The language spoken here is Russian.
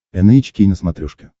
эн эйч кей на смотрешке